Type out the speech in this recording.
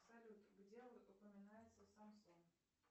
салют где упоминается самсон